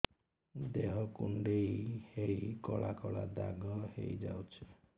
ଦେହ କୁଣ୍ଡେଇ ହେଇ କଳା କଳା ଦାଗ ହେଇଯାଉଛି